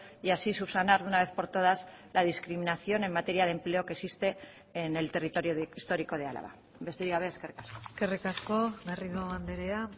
y así subsanar de una vez por todas la discriminación en materia de empleo que existe en el territorio histórico de álava besterik gabe eskerrik asko eskerrik asko garrido andrea